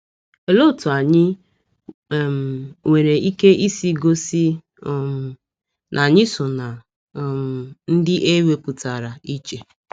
Olee otú anyị um nwere ike isi gosi um na anyị so ná um ndị e wepụtara iche?